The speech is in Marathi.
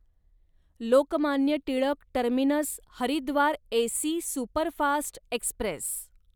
Lokmanya Tilak terminus Haridwar AC superfast Express